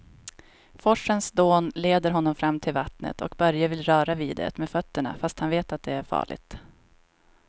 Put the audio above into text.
Forsens dån leder honom fram till vattnet och Börje vill röra vid det med fötterna, fast han vet att det är farligt.